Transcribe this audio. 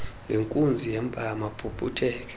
ngenkunzi yempama aphuphutheke